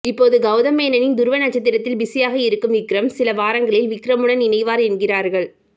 இப்போது கவுதம்மேனனின் துருவ நட்சத்திரத்தில் பிசியாக இருக்கும் விக்ரம் சில வாரங்களில் விக்ரமுடன் இணைவார் என்கிறார்கள்